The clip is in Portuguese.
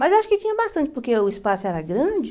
Mas acho que tinha bastante, porque o espaço era grande.